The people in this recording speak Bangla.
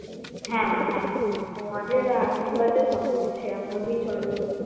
হ্যাঁ মা হ্যাঁ তোমাদের আশীর্বাদে সবকিছু সেরকম ভাবেই চলবে